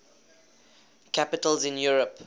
capitals in europe